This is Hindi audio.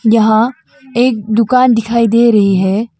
यहाँ एक दुकान दिखाई दे रही है।